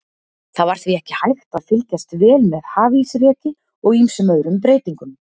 Það var því ekki hægt að fylgjast vel með hafísreki og ýmsum öðrum breytingum.